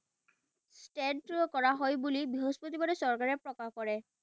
কৰা হয় বুলি বৃহস্পতিবাৰে চৰকাৰে প্ৰকাশ কৰে।